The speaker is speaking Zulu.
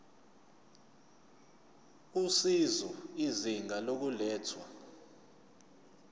usizo izinga lokulethwa